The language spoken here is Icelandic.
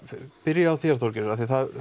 byrja á þér Þorgerður